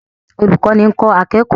Olùkọ́ni ń kọ́ akẹ́kọ̀ọ́